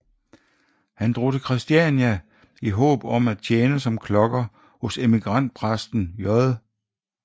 Han drog til Christiania i håb om at tjene som klokker hos emigrantpræsten J